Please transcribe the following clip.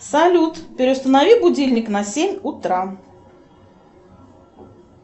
салют переустанови будильник на семь утра